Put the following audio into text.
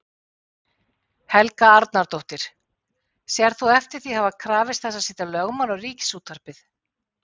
Helga Arnardóttir: Sérð þú eftir því að hafa krafist þess að setja lögbann á Ríkisútvarpið?